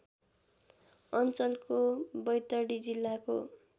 अञ्चलको बैतडी जिल्लाको